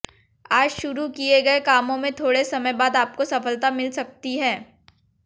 आज शुरू किए गए कामों में थोड़े समय बाद आपको सफलता मिल सकती है